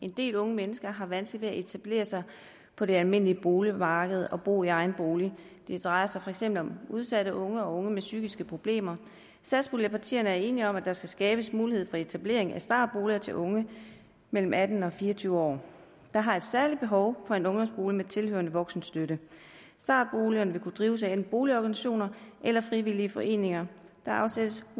en del unge mennesker har vanskeligt ved at etablere sig på det almindelige boligmarked og bo i egen bolig det drejer sig for eksempel om udsatte unge og unge med psykiske problemer satspuljepartierne er enige om at der skal skabes mulighed for etablering af startboliger til unge mellem atten og fire og tyve år der har et særligt behov for en ungdomsbolig med tilhørende voksenstøtte startboligerne vil kunne drives af enten boligorganisationer eller frivillige foreninger der afsættes